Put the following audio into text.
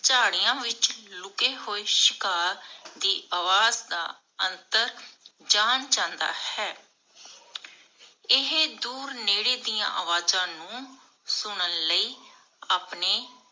ਝਾੜੀਆਂ ਵਿਚ ਲੁਕੇ ਹੂਏ ਸ਼ਿਕਾਰ ਦੀ ਆਵਾਜ਼ ਦਾ ਅੰਤਰ ਜਾਣ ਜਾਂਦਾ ਹੈ. ਇਹ ਦੂਰ ਨੇੜੇ ਦੀਆਂ ਅਵਾਜ਼ਾਂ ਨੂੰ ਸੁਨਣ ਲਈ ਆਪਣੇ